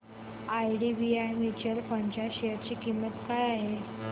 IDBI mutual fund च्या share ची किंमत काय आहे